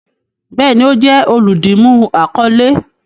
Bẹẹni, o jẹ oludimu akọle